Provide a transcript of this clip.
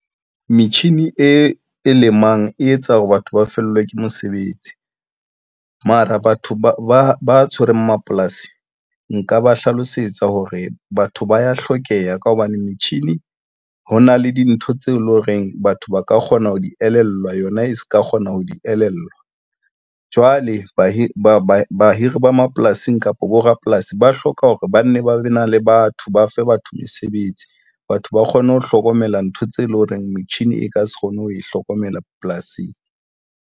Metjhini e lemang e etsa hore batho ba fellwe ke mosebetsi. Mara batho ba tshwereng mapolasing nka ba hlalosetsa hore batho ba ya hlokeha ka hobane metjhini ho na le dintho tseo e leng horeng batho ba ka kgona ho di elellwa yona e se ka kgona ho di elellwa jwale Bahiri, ba mapolasing kapa bo rapolasi ba hloka hore ba nne ba be na le batho ba fe batho mesebetsi. Batho ba kgone ho hlokomela ntho tseo e leng hore metjhini e ka se kgone ho e hlokomela polasing.